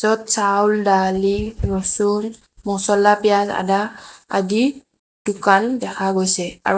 য'ত চাউল দালি ৰসুন মচলা পিয়াজ আদা আদি দোকান দেখা গৈছে আৰু--